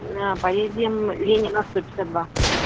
поедем ленина сто пятьдесят два